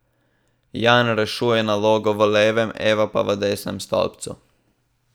Jan rešuje nalogo v levem, Eva pa v desnem stolpcu.